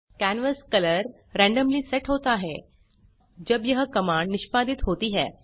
canvas colour randomly set होता है जब यह कमांड निष्पादित होती है